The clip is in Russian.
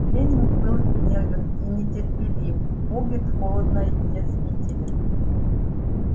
лэннинг был гневен и нетерпелив богерт холодно язвителен